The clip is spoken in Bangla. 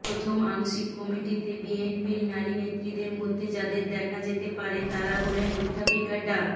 প্রথম আংশিক কমিটিতে বিএনপির নারী নেত্রীদের মধ্যে যাদের দেখা যেতে পারে তারা হলেন অধ্যাপিকা ডা